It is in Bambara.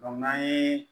n'an ye